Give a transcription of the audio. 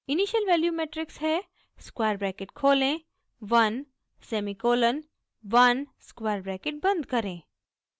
initial values matrix है square bracket खोलें 1 semicolon 1 square bracket बंद करें